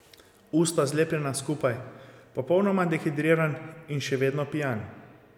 Usta zlepljena skupaj, popolnoma dehidriran in še vedno pijan.